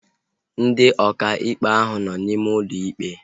Ndị ọkà ikpe ahu nọ n'ime ụlọ ikpe